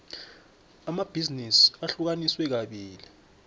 amabhizinisi ahlukaniswe kabili